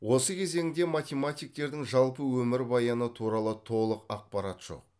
осы кезеңде математиктердің жалпы өмір баяны туралы толық ақпарат жоқ